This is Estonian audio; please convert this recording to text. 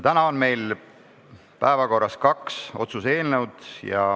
Täna on meil päevakorras kaks otsuse eelnõu.